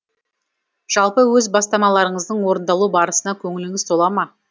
жалпы өз бастамаларыңыздың орындалу барысына көңіліңіз тола ма